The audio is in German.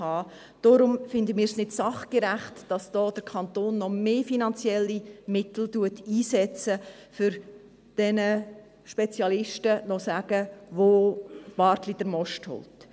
Deshalb finden wir es nicht sachgerecht, dass der Kanton da noch mehr finanzielle Mittel einsetzt, um diesen Spezialisten noch zu sagen, wo «Bartli den Most holt».